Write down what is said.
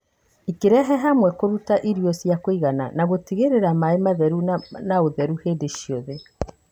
ikĩrehe hamwe kũruta irio cia kũigana na gũtigĩrĩra maĩ matheru na ũtheru hĩndĩ ciothe.